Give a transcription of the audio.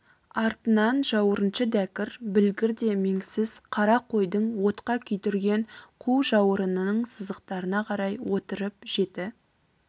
артынан жауырыншы дәкір білгір де меңсіз қара қойдың отқа күйдірген қу жауырынының сызықтарына қарай отырып жеті